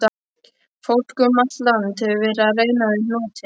Fólk um allt land hefur verið að reyna við hnútinn.